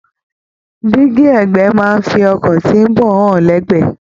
Dingi ẹgbẹ máa n fí ọkọ tí n bọ hàn lẹgbẹ.